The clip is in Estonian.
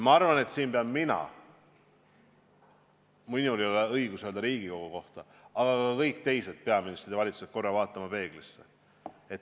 Ma arvan, et mina pean – mul ei ole õigust öelda seda Riigikogu kohta –, aga ka kõik teised peaministrid ja valitsused peavad korra vaatama peeglisse.